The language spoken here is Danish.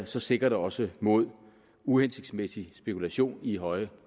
så sikrer det også mod uhensigtsmæssig spekulation i høje